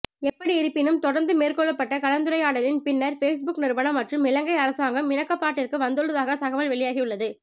எப்படியிருப்பினும் தொடர்ந்து மேற்கொள்ளப்பட்ட கலந்துரையாடலின் பின்னர் பேஸ்புக் நிறுவனம் மற்றும் இலங்கை அரசாங்கம் இணக்கப்பாட்டிற்கு வந்துள்ளதாக தகவல் வெளியாகியுள்ளது